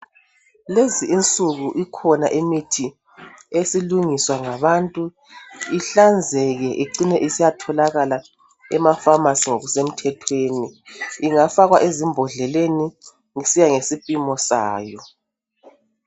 Lezinsuku ikhona imithi esilungiswa ngabantu ihlanzeke icine isiyatholakala emafamasi ngokusemthethweni ingafakwa ezimbodleleni kusiya ngesipimo sayo.